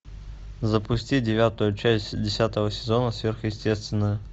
запусти девятую часть десятого сезона сверхъестественное